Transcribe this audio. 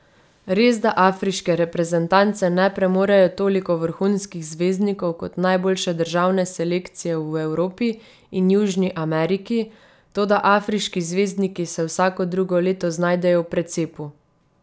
Resda afriške reprezentance ne premorejo toliko vrhunskih zvezdnikov kot najboljše državne selekcije v Evropi in Južni Ameriki, toda afriški zvezdniki se vsako drugo leto znajdejo v precepu.